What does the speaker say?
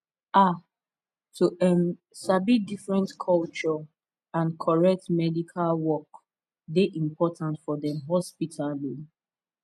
um to um sabi different culture and correct medical work dey important for dem hospital um